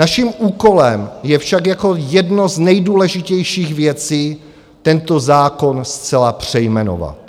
Naším úkolem je však jako jedna z nejdůležitějších věcí tento zákon zcela přejmenovat.